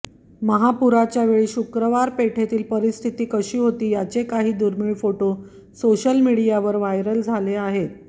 महापूराच्यावेळी शुक्रवार पेठेतील परिस्थीतीती कशी होती त्याचे काही दुर्मीळ फोटो सोशल मीडियावर व्हायरल झाले आहेत